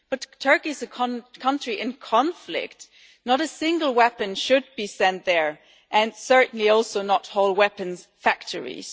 But Turkey is a country in conflict not a single weapon should be sent there, and certainly also not whole weapons factories.